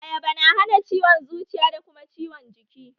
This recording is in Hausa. Ayaba na hana ciwon zuciya da kuma ciwon jiki